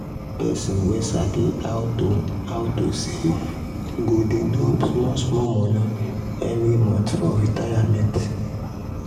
person wey sabi how to how to save go dey drop small small money every month for retirement.